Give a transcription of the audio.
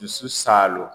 Dusu salo